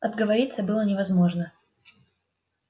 отговориться было невозможно